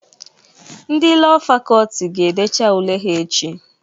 Ndị Lọọ Fakọlti ga-edecha ule ha echi